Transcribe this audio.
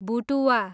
भुटुवा